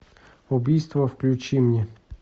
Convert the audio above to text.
убийство включи мне